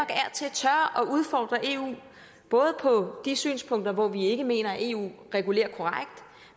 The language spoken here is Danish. at udfordre eu både på de synspunkter hvor vi ikke mener eu regulerer korrekt